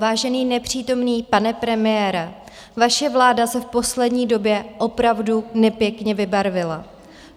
Vážený nepřítomný pane premiére, vaše vláda se v poslední době opravdu nepěkně vybarvila.